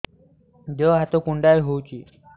ଦେହ ହାତ କୁଣ୍ଡାଇ ହଉଛି